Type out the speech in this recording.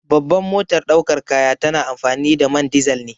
Babban motar daukar kaya tana amfani da man dizal ne.